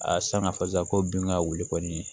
A sanga fɔ sisan ko bin ka wuli kɔni